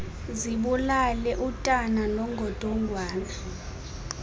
zibulale utana nongodongwana